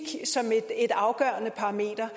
som et afgørende parameter